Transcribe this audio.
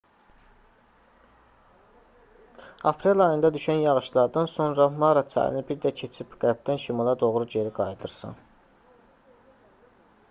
aprel ayında düşən yağışlardan sonra mara çayını bir də keçib qərbdən şimala doğru geri qayıdırsan